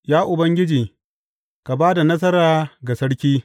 Ya Ubangiji, ka ba da nasara ga sarki!